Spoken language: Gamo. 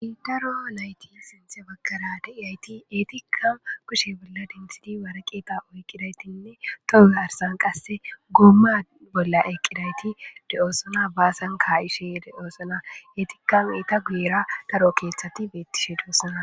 daro nayti sinthe baggara de'iyayti eetika kushe bolla densidi warqeeta oyqqidaytinne tomearsan qasse goomma bolla eqqidayti de7oosona baasan ka7ishe deoosona etikam ita guyera daro keeththati beettishe doosana